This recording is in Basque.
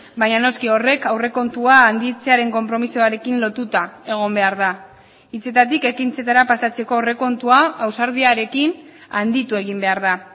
baina noski horrek aurrekontua handitzearen konpromisoarekin lotuta egon behar da hitzetatik ekintzetara pasatzeko aurrekontua ausardiarekin handitu egin behar da